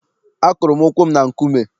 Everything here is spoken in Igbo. Akụrụ m ụkwụ m na nkume.